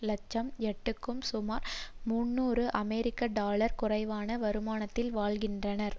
இலட்சம் க்யட்டுக்கும் சுமார் முன்னூறு அமெரிக்க டொலர் குறைவான வருமானத்தில் வாழ்கின்றனர்